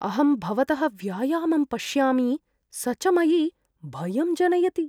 अहं भवतः व्यायामं पश्यामि, स च मयि भयं जनयति।